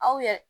Aw yɛrɛ